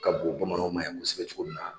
Ka bon bamananw ma yen kosɛbɛ cogo min na